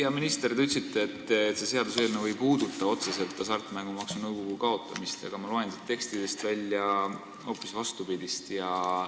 Hea minister, te ütlesite, et see seaduseelnõu ei puuduta otseselt Hasartmängumaksu Nõukogu kaotamist, aga ma loen siit tekstidest hoopis vastupidist välja.